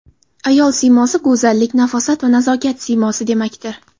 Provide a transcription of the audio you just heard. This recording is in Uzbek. Ayol siymosi go‘zallik, nafosat va nazokat siymosi demakdir.